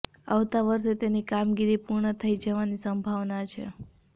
આવતા વર્ષે તેની કામગીરી પૂર્ણ થઈ જવાની સંભાવના છે